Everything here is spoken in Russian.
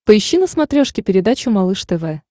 поищи на смотрешке передачу малыш тв